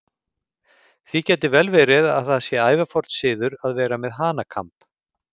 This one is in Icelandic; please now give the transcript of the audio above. Því gæti vel verið að það sé ævaforn siður að vera með hanakamb.